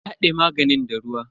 Ta hade maganin da ruwa.